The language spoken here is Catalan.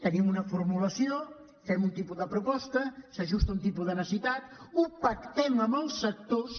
tenim una formulació fem un tipus de proposta s’ajusta a un tipus de necessitat ho pactem amb els sectors